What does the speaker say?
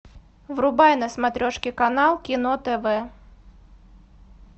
врубай на смотрешке канал кино тв